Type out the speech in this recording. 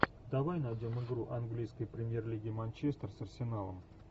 давай найдем игру английской премьер лиги манчестер с арсеналом